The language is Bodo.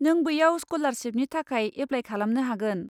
नों बैयाव स्क'लारसिपनि थाखाय एप्लाय खालामनो हागोन।